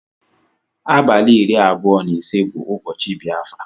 Abali iri abụọ na ise bu ụbochi biafra.